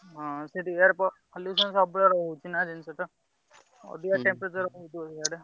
ହଁ ସେଠି air pollution ରହୁଛି ନାଁ ଅଧିକା temperature